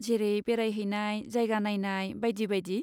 जेरै, बेरायहैनाय, जायगा नायनाय, बायदि बायदि।